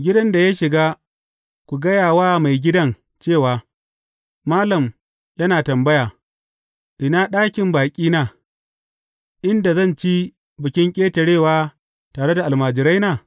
Gidan da ya shiga, ku gaya wa maigidan cewa, Malam yana tambaya, ina ɗakin baƙina, inda zan ci Bikin Ƙetarewa tare da almajiraina?’